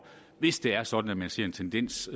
hvis det er sådan at man ser en tendens